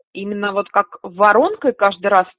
именно вот как воронкой каждый раз